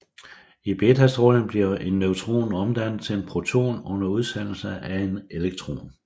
I betastråling bliver en neutron omdannet til en proton under udsendelse af en elektron